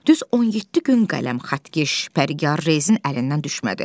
Düz 17 gün qələm, xəttkeş, pərgər, rezin əlindən düşmədi.